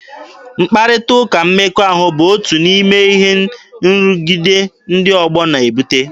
Mkparịta ụka mmekọahụ bụ otu n'ime ihe nrụgide ndị ọgbọ na-ebute.